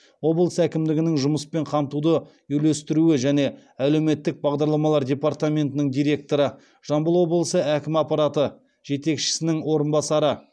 облыс әкімдігінің жұмыспен қамтуды үйлестіру және әлеуметтік бағдарламалар департаментінің директоры жамбыл облысы әкімі аппараты жетекшісінің орынбасары